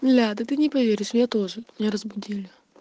а ты не поверишь я тоже не разбудили